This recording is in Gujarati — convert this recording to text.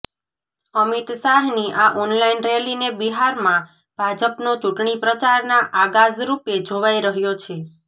અમિત શાહની આ ઓનલાઇન રેલીને બિહારમાં ભાજપનો ચૂંટણી પ્રચારના આગાજ રૂપે જોવાઇ રહ્યો છે